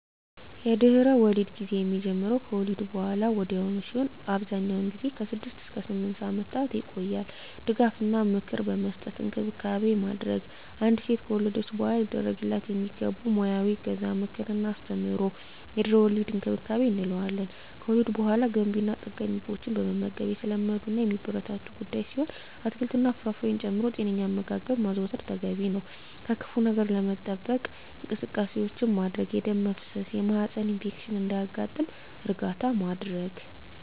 የድህረ-ወሊድ ጊዜ የሚጀምረው ከወሊድ በሃላ ወዲያውኑ ሲሆን አብዛኛውን ጊዜ ከ6 እስከ 8 ሳምንታት ይቆያል ድጋፍ እና ምክር በመስጠት እንክብካቤ ማድረግ። አንዲት ሴት ከወለደች በሃላ ሊደረግላት የሚገቡ ሙያዊ እገዛ ምክር እና አስተምሮ የድህረ-ወሊድ እንክብካቤ እንለዋለን። ከወሊድ በሃላ ገንቢ እና ጠጋኝ ምግቦችን መመገብ የተለመዱ እና የሚበረታቱ ጉዳይ ሲሆን አትክልት እና ፍራፍሬ ጨምሮ ጤነኛ አመጋገብ ማዘውተር ተገቢ ነው። ከክፋ ነገር ለመጠበቅ እንቅስቃሴዎች ማድረግ የደም መፍሰስ የማህፀን ኢንፌክሽን እንዳያጋጥም እርዳታ ማድረግ።